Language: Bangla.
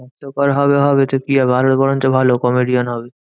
হাস্যকর হবে হবে তো কি হবে? আরো বরঞ্চ ভালো comedian হবে।